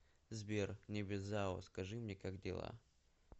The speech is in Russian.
сбер небезао скажи мне как дела